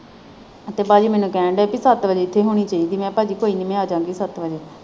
ਤੇ ਪਾਜੀ ਮੈਨੂੰ ਕਹਿਣ ਦੇ ਹੀ ਤੂੰ ਸੱਤ ਵਜੇ ਹੋਣੀ ਚਾਹੀਦੀ ਮੈਂ ਕਿਹਾ ਪਾਜੀ ਕੋਈ ਨਹੀਂ ਮੈਂ ਆਜਾਂਗੀ ਸੱਤ ਵਜੇ।